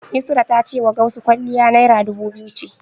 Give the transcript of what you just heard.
Yusra ta cewa Gausu kwalliya Naira dubu biyu ce.